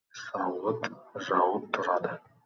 сауыт жауып тұрады